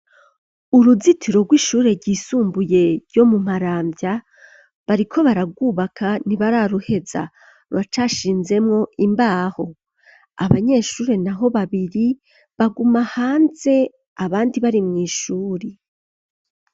uruzitiro rw'ishure ryisumbuye ryo mu maramvya bariko baragwubaka ntibararuheza ruracashinzemwo imbaho abanyeshuri naho babiri baguma hanze abandi bari mw,ishuri